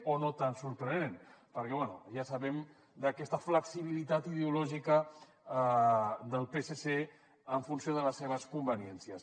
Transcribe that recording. o no tan sorprenent perquè bé ja sabem d’aquesta flexibilitat ideològica del psc en funció de les seves conveniències